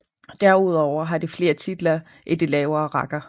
Derudover har de flere titler i de lavere rækker